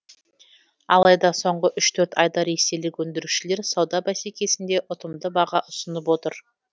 алайда соңғы үш төрт айда ресейлік өндірушілер сауда бәсекесінде ұтымды баға ұсынып отыр